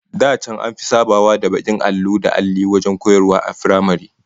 Da can an fi sabawa da bakin allo da alli wajen koyarwa a firamare